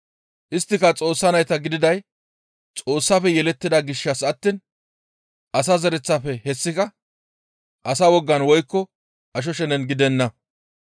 Isttika Xoossa nayta gididay Xoossafe yelettida gishshas attiin asa zereththafe hessika asa wogan woykko asho shenen gidenna.